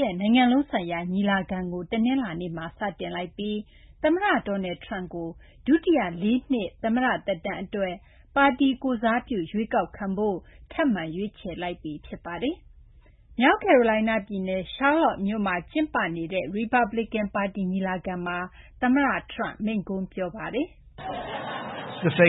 ရဲ့ နိုင်ငံလုံး ဆိုင်ရာ ညီလာခံကို တနလာၤနေ့မှာ စတင်လိုက်ပြီး သမ္မတ Donald Trump ကို ဒုတိယ လေးနှစ် သမ္မတ သက်တမ်း အတွက် ပါတီ ကိုယ်စားပြု ရွေးကောက်ခံဖို့ ထပ်မံ ရွေးချယ်လိုက်ပြီ ဖြစ်ပါတယ်။ မြောက်ကယ်ရိုလိုင်းနား ပြည်နယ် Charlotte မြို့မှာ ကျင်းပနေတဲ့ ရီပတ်ပလီကန် ပါတီ ညီလာခံမှာ သမ္မတ Trump မိန့်ခွန်းပြောခဲ့ပါတယ်။ “နို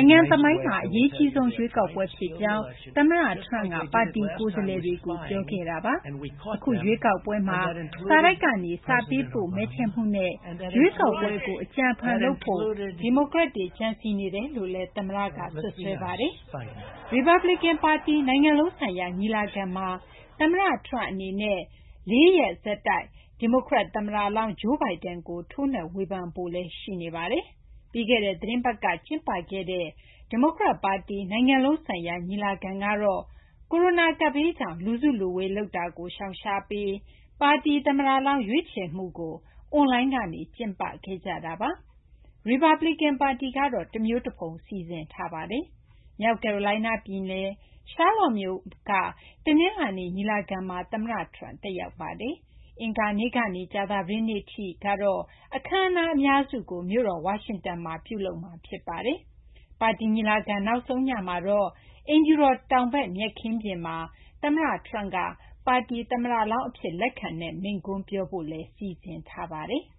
င်ငံ သမိုင်းမှာ အရေးအကြီးဆုံး ရွေးကောက်ပွဲ” ဖြစ်ကြောင်း သမ္မတ Trump က ပါတီ ကိုယ်စားလှယ်တွေကို ပြောခဲ့တာပါ။ အခု ရွေးကောက်ပွဲမှာ စာတိုက်ကနေ စာပေးပို့ မဲထည့်မှုနဲ့ ရွေးကောက်ပွဲကို အကြံအဖန် လုပ်ဖို့ ဒီမိုကရက်တွေ ကြံစည်နေတယ်လို့လည်း သမ္မတက စွပ်စွဲပါတယ်။ ရီပတ်ပလီကန် ပါတီ နိုင်ငံလုံးဆိုင်ရာ ညီလာခံမှာ သမ္မတ Trump အနေနဲ့ ၄ ရက် ဆက်တိုက် ဒီမိုကရက် သမ္မတလောင်း Joe Biden ကို ထိုးနှက်ဝေဖန်ဖို့လည်း ရှိနေပါတယ်။ ပြီးခဲ့တဲ့ သီတင်းပတ်က ကျင်းပခဲ့တဲ့ ဒီမိုကရက် ပါတီ နိုင်ငံလုံး ဆိုင်ရာ ညီလာခံကတော့ ကိုရိုနာ ကပ်ဘေးကြောင့် လူစုလူဝေးလုပ်တာကို ရှောင်ရှားပြီး ပါတီ သမ္မတလောင်း ရွေးချယ်မှုကို အွန်လိုင်းကနေ ကျင်းပခဲ့ကြတာပါ။ ရီပတ်ပလီကန် ပါတီကတော့ တမျိုးတဖုံ စီစဉ်ထားပါတယ်။ မြောက်ကယ်ရိုလိုင်းနား ပြည်နယ် Charlotte မြို့က တနလာၤနေ့ ညီလာခံမှာ သမ္မတ Trump တက်ရောက်ပါတယ်။ အင်္ဂါနေ့ ကနေ ကြာသပတေးနေ့ အထိ ကတော့ အခမ်းအနား အများစုကို မြို့တော် ဝါရှင်တန်မှာ ပြုလုပ်မှာ ဖြစ်ပါတယ်။ ပါတီ ညီလာခံ နောက်ဆုံး ညမှာတော့ အိမ်ဖြူတော် တောင်ဘက် မြက်ခင်းပြင်မှာ သမ္မတ Trump က ပါတီ သမ္မတလောင်း အဖြစ် လက်ခံတဲ့ မိန့်ခွန်း ပြောဖို့ စီစဉ်ထားပါတယ်။